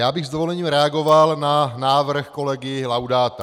Já bych s dovolením reagoval na návrh kolegy Laudáta.